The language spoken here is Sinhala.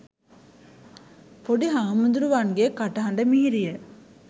පොඩි හාමුදුරුවන්ගේ කටහඬ මිහිරිය,